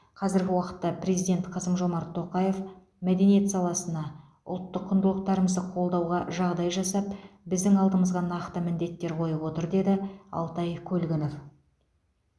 қазіргі уақытта президент қасым жомарт тоқаев мәдениет саласына ұлттық құндылықтарымызды қолдауға жағдай жасап біздің алдымызға нақты міндеттер қойып отыр деді алтай көлгінов